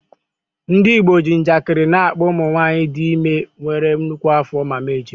Ndị Igbo ji njakịrị na-akpọ ụmụ nwanyị dị ime nwere nnukwu afọ “Mama Ejima.”